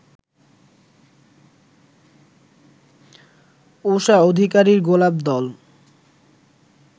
ঊষা অধিকারীর গোলাপ দল